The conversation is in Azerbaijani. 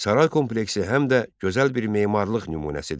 Saray kompleksi həm də gözəl bir memarlıq nümunəsidir.